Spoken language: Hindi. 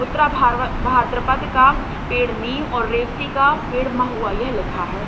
उत्तरा भार्व भाद्रपद का पेड़ नई और रेवती का पेड़ का महुआ ये लिखा है।